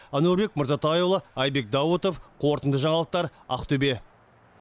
әнуарбек мырзатайұлы әйбек даутов қорытынды жаңалықтар ақтөбе